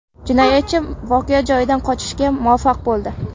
Jinoyatchi voqea joyidan qochishga muvaffaq bo‘ldi.